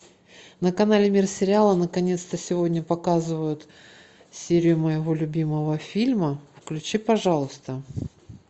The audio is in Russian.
на канале мир сериала наконец то сегодня показывают серию моего любимого фильма включи пожалуйста